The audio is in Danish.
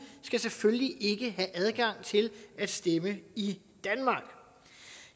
skal selvfølgelig ikke have adgang til at stemme i danmark